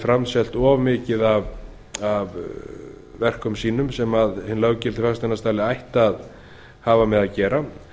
framselt of mikið af verkum sínum sem hinn löggilti fasteignasali ætti að hafa með að gera